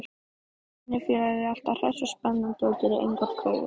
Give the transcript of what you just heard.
Vinnufélaginn er alltaf hress og spennandi og gerir engar kröfur.